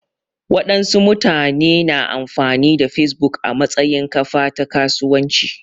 Waɗansu mutane su na amfani da Facebook a matsayin kafa ta kasuwanci